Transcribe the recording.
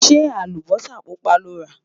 ṣé àlùbósà púpá lọrá?